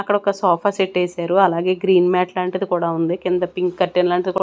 అక్కడొక సోఫా సెట్టేసారు అలాగే గ్రీన్ మ్యాట్ లాంటిది కూడా ఉంది కింద పింక్ కర్టన్ లాంటిది కు--